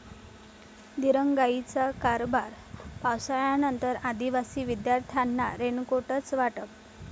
दिरंगाईचा कारभार! पावसाळ्यानंतर आदिवासी विद्यार्थ्यांना रेनकोटचं वाटप